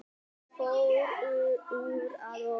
Fór úr að ofan